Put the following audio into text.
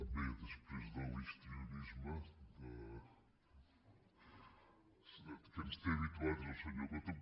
bé després de l’histrio·nisme a què ens té habituats el senyor coto